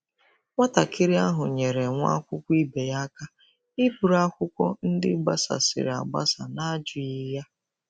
Nwatakịrị ahụ nyeere nwa akwụkwọ ibe ya aka iburu akwụkwọ ndị gbasasịrị agbasa n'ajụghị ya.